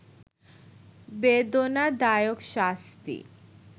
বেদনাদায়ক শাস্তি